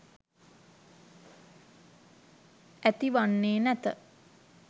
ඇති වන්නේ නැත.